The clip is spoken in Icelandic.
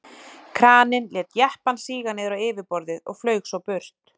Kraninn lét jeppann síga niður á yfirborðið og flaug svo burt.